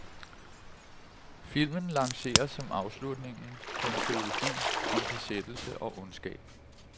Filmen lanceres som afslutningen på en trilogi om besættelse og ondskab.